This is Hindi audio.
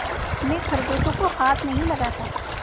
मैं खरगोशों को हाथ नहीं लगाता